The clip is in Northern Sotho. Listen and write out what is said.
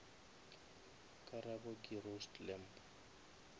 karabo ke roast lamb